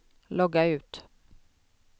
logga ut